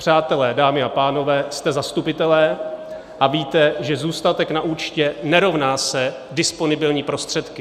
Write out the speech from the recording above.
Přátelé, dámy a pánové, jste zastupitelé a víte, že zůstatek na účtě nerovná se disponibilní prostředky.